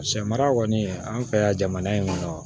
Sɛmara kɔni an fɛ yan jamana in kɔnɔ